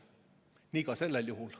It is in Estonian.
Nii ka sellel juhul.